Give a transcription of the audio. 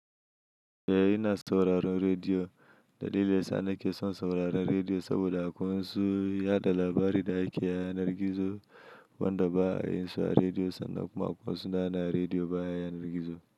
Eh ina sauraron rediyo. Dalilin sa na ke son sauraron rediyo saboda akwai wasu yaɗa labari da ake yanar gizo wanda ba a yin su a rediyo sannan kuma akwai wasu da na rediyo baya yanar gizo.